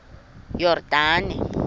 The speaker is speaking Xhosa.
yordane